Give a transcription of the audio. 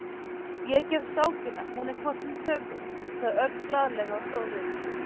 Ég gef skákina, hún er hvort sem er töpuð, sagði Örn glaðlega og stóð upp.